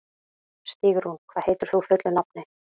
Stígrún, hvað heitir þú fullu nafni?